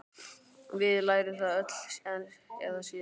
Við lærum það öll eða síðar.